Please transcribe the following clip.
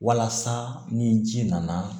Walasa ni ji nana